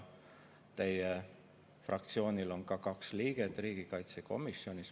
Teie fraktsioonist on riigikaitsekomisjonis kaks liiget.